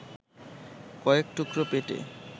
কয়েক টুকরো পেটে